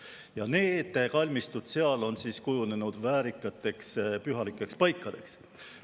Ja need kalmistud seal on kujunenud väärikateks pühalikeks paikadeks.